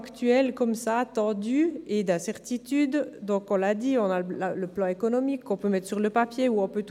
Wir kommen zu den Einzelsprecherinnen und Einzelsprecher.